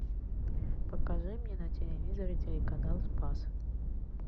покажи мне на телевизоре телеканал спас